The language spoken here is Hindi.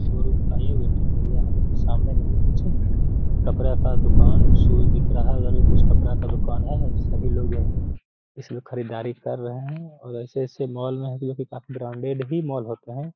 शोरूम का ये वैटिंग एरिया है जो की सामने कुछ कपड़ा का दुकान शूज़् दिख रहा है उधर भी कुछ कपड़ा का दुकान है। सभी लोग यहां इसमें खरीदारी कर रहे है और ऐसे-ऐसे मॉल में अभी काफी ब्रांडेड भी मॉल होते हैं।